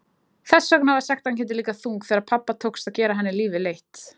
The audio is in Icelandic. Þess vegna var sektarkenndin líka þung þegar pabba tókst að gera henni lífið leitt.